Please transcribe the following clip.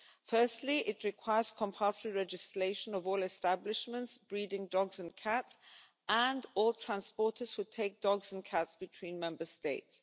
Firstly, it requires compulsory registration of all establishments breeding dogs and cats, and all transporters who take dogs and cats between Member States.